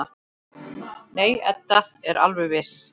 Nei, Edda er alveg viss.